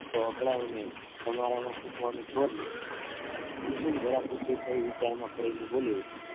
કુસુમ જરાજ ઊચી થઈ વિચાર માં પડી ને બોલી ઉઠી